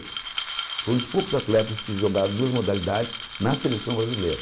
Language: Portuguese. Foi um dos poucos atletas que jogaram duas modalidades na seleção brasileira.